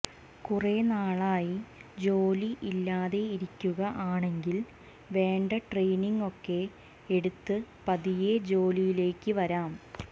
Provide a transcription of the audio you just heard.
കുറെ നാളായി ജോലി ഇല്ലാതെ ഇരിക്കുക ആണെങ്കിൽ വേണ്ട ട്രെയിനിങ് ഒക്കെ എടുത്ത് പതിയെ ജോലിയിലേക്ക് വരാം